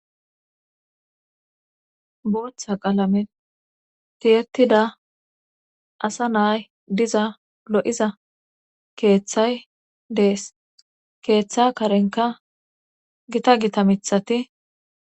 booththa qalamen tiyetida asa naay diza lo7iza keeththay dees keeththa karenka gita gita mithati